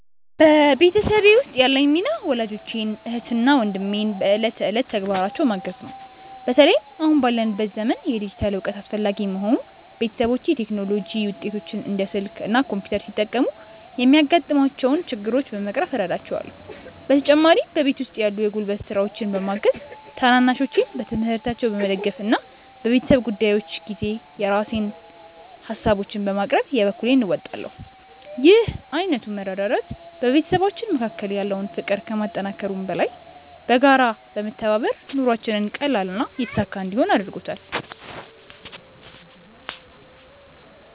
በቤተሰቤ ውስጥ ያለኝ ሚና ወላጆቼን፣ እህትና ወንድሜን በዕለት ተዕለት ተግባራቸው ማገዝ ነው። በተለይም አሁን ባለንበት ዘመን የዲጂታል እውቀት አስፈላጊ በመሆኑ፣ ቤተሰቦቼ የቴክኖሎጂ ውጤቶችን (እንደ ስልክ እና ኮምፒውተር) ሲጠቀሙ የሚያጋጥሟቸውን ችግሮች በመቅረፍ እረዳቸዋለሁ። በተጨማሪም በቤት ውስጥ ያሉ የጉልበት ስራዎችን በማገዝ፣ ታናናሾቼን በትምህርታቸው በመደገፍ እና በቤተሰብ ጉዳዮች ጊዜ የራሴን ሃሳቦችን በማቅረብ የበኩሌን እወጣለሁ። ይህ ዓይነቱ መረዳዳት በቤተሰባችን መካከል ያለውን ፍቅር ከማጠናከሩም በላይ፣ በጋራ በመተባበር ኑሯችንን ቀላልና የተሳካ እንዲሆን አድርጎታል።